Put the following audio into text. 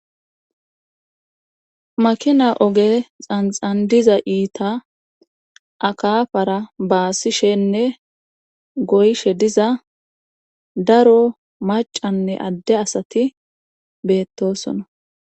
makina oge xanxan diza iita akafara baasishenne goyshe diza daro macanne adde asati beettosona